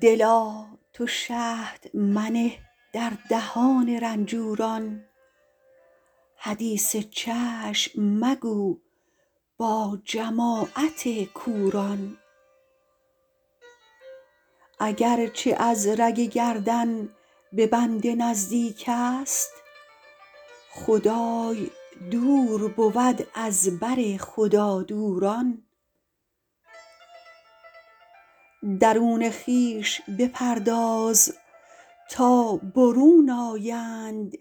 دلا تو شهد منه در دهان رنجوران حدیث چشم مگو با جماعت کوران اگر چه از رگ گردن به بنده نزدیک است خدای دور بود از بر خدادوران درون خویش بپرداز تا برون آیند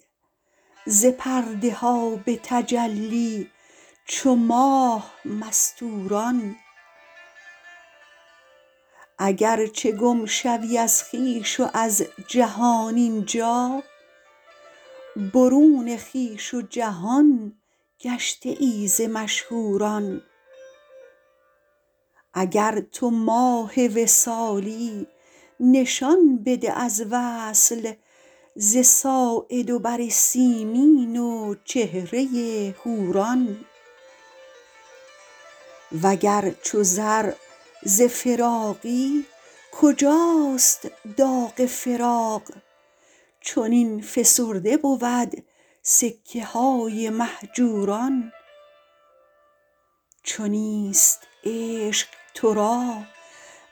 ز پرده ها به تجلی چو ماه مستوران اگر چه گم شوی از خویش و از جهان این جا برون خویش و جهان گشته ای ز مشهوران اگر تو ماه وصالی نشان بده از وصل ز ساعد و بر سیمین و چهره حوران وگر چو زر ز فراقی کجاست داغ فراق چنین فسرده بود سکه های مهجوران چو نیست عشق تو را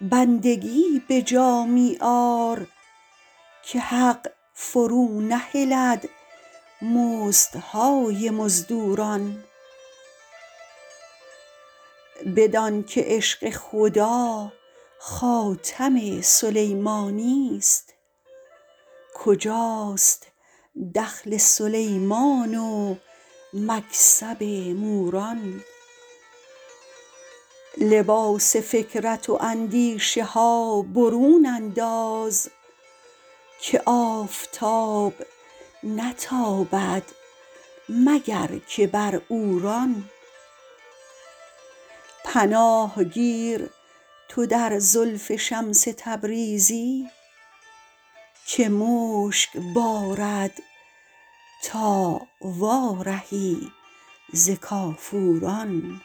بندگی به جا می آر که حق فرونهلد مزدهای مزدوران بدانک عشق خدا خاتم سلیمانی است کجاست دخل سلیمان و مکسب موران لباس فکرت و اندیشه ها برون انداز که آفتاب نتابد مگر که بر عوران پناه گیر تو در زلف شمس تبریزی که مشک بارد تا وارهی ز کافوران